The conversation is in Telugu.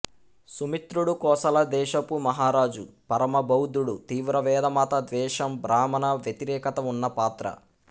సుమిత్రుడు కోసల దేశపు మహారాజు పరమబౌద్ధుడు తీవ్ర వేదమత ద్వేషం బ్రాహ్మణ వ్యతిరేకత ఉన్న పాత్ర